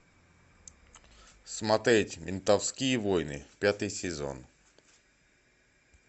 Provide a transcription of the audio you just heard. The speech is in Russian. смотреть ментовские войны пятый сезон